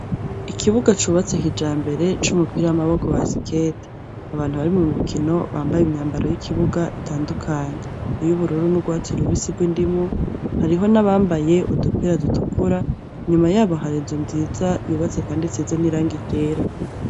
Ikibuga cubatse kijambere c'umupira w'amaboko basiketi, abantu bari mumukino bambaye imyambaro y'ikibuga itandukanye . Iy'ubururu n'ugwatsi rubisi gw'indimu hariho nabambaye udupira dutukura, inyuma yabo har'inzu nziza yubatse kandi isize n'irangi ryera.